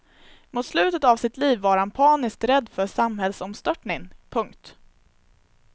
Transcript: Mot slutet av sitt liv var han paniskt rädd för samhällsomstörtning. punkt